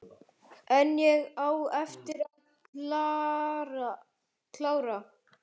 En ég á eftir að klára.